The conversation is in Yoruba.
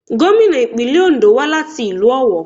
Gómìnà ìpínlẹ̀ Òńdó wá láti ìlú Ọ̀wọ̀.